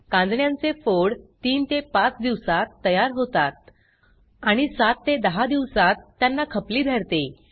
कांजिण्यांचे फोड 3ते 5 दिवसात तयार होतात आणि 7 ते 10 दिवसात त्यांना खपली धरते